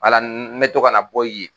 Wala me to ka na bɔ ye.